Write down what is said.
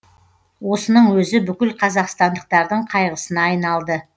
осының өзі бүкіл қазақстандықтардың қайғысына айналды